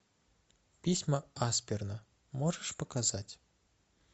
письма асперна можешь показать